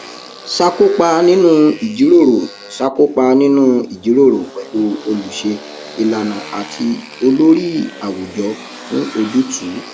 ṣàkópa nínú ìjíròrò ṣàkópa nínú ìjíròrò pẹlú olùṣe ìlànà àti olórí àwùjọ fún ojútùú